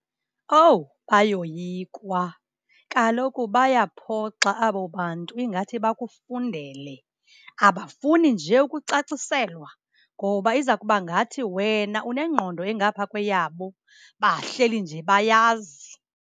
Owu, bayoyikwa. Kaloku bayaphoxa abo bantu ingathi bakufundele. Abafuni nje ukucaciselwa ngoba iza kuba ngathi wena unengqondo engapha kweyabo. Bahleli nje bayazi.